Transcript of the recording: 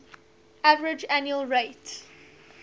average annual rate